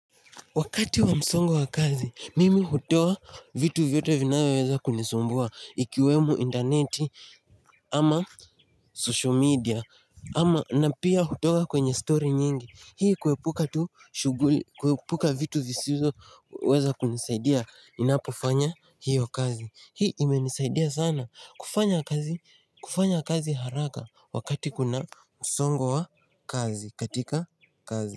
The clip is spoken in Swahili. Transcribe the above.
Wakati wa msongo wa kazi, mimi hutoa vitu vyote vinayoweza kunisumbua ikiwemu interneti ama social media ama na pia hutoa kwenye story nyingi. Hii kuepuka tu shughuli, kuepuka vitu visizoweza kunisaidia ninapofanya hiyo kazi. Hii imenisaidia sana kufanya kazi haraka wakati kuna msongo wa kazi, katika kazi.